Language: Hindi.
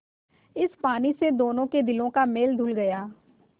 इस पानी से दोनों के दिलों का मैल धुल गया